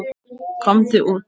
Komdu út!